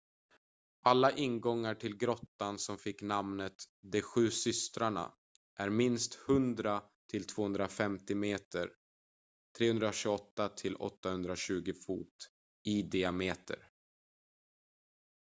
alla ingångar till grottan som fick namnet ”de sju systrarna” är minst 100 till 250 meter 328 till 820 fot i diameter